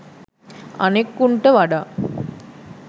අනික් උන්ට වඩා